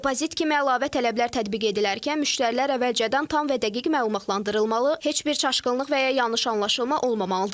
Depozit kimi əlavə tələblər tətbiq edilərkən müştərilər əvvəlcədən tam və dəqiq məlumatlandırılmalı, heç bir çaşqınlıq və ya yanlış anlaşılma olmamalıdır.